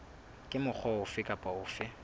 ka mokgwa ofe kapa ofe